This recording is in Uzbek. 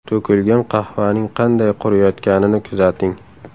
To‘kilgan qahvaning qanday quriyotganini kuzating.